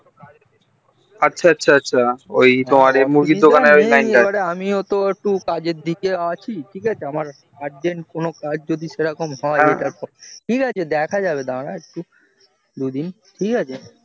আচ্ছা আচ্ছা আচ্ছা আমিও একটু কাজ এর দিকে আছি আমার urgent কোনো কাজ যদি সেরকম হয় ঠিক আছে দেখা যাবে দাঁড়া একটু দুদিন ঠিক আছে